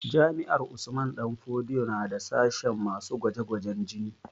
Jami'ar Usman danfodiyo na da sashen masu gwaje gwajen jini